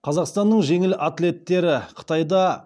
қазақстанның жеңіл атлеттері қытайда